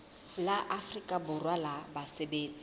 la afrika borwa la basebetsi